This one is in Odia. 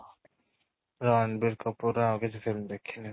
ରଣବୀର କପୂର ର ଆଉ କିଛି ସେମିତି ଦେଖିନି